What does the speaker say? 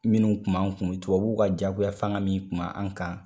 Minnu Kun b'an kun tubabuw ka jagoya fanga min kun ma an kan